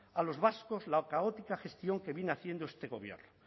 a los vascos la caótica gestión que viene haciendo este gobierno